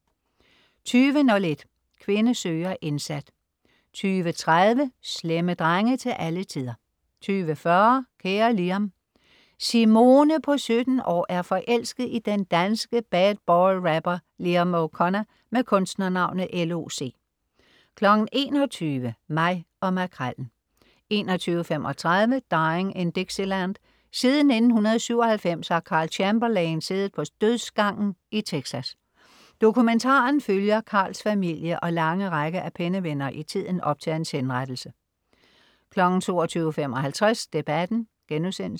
20.01 Kvinde søger indsat 20.30 Slemme drenge til alle tider 20.40 Kære Liam. Simone på 17 år er forelsket i den danske bad-boy rapper Liam O'Connor med kunstnernavnet L.O.C 21.00 Mig og Makrellen 21.35 Dying in Dixieland. Siden 1997 har Karl Chamberlain siddet på dødsgangen i Texas. Dokumentaren følger Karls familie og lange række af pennevenner i tiden op til hans henrettelse 22.55 Debatten*